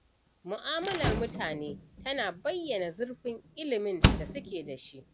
Mu'amalar mutane tana bayyana zurfin ilimin da suke da shi.